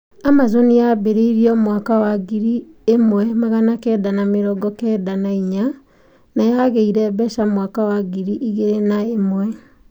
Amazon yambĩrĩriwe mwaka wa ngiri ĩmwe magana kenda na mĩrongo kenda na inya na yageire mbeca mwaka wa mwaka wa ngiri igĩri na umwe